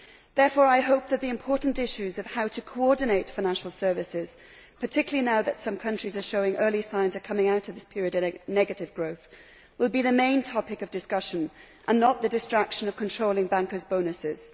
Therefore, I hope that the important issues of how to coordinate financial services, particularly now that some countries are showing early signs of coming out of this period of negative growth, will be the main topic of discussion and not the distraction of controlling bankers' bonuses.